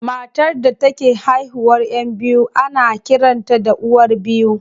Matar da take haihuwar 'yan biyu ana kiranta da uwar biyu.